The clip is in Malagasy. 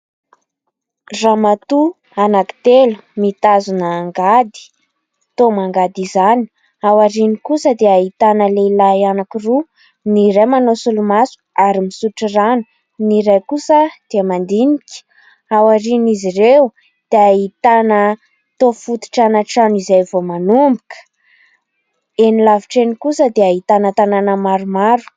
Ramatoa anankitelo mitazona angady, toa mangady izany. Aoriany osa dia ahitana lehilahy anankiroa : ny iray manao solomaso ary misotro rano, ny iray kosa dia mandinika. Aorian'izy ireo dia ahitana tao fototrana trano vao manomboka. Eny lavitra eny kosa dia ahitana tanàna maromaro.